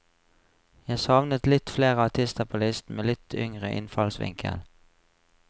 Jeg savnet litt flere artister på listen, med litt yngre innfallsvinkel.